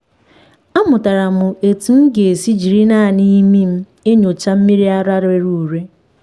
amụtara m otú m ga-esi jiri naanị imi m enyocha mmiri ara rere ure.